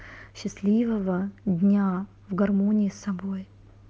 счастливого дня в гармонии с собой